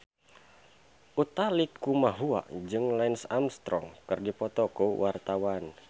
Utha Likumahua jeung Lance Armstrong keur dipoto ku wartawan